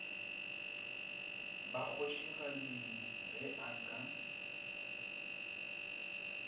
ba kgošigadi ge a ka